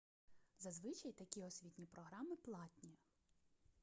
зазвичай такі освітні програми платні